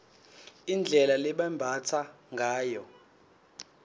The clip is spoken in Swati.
indlela lebebambatsa ngayo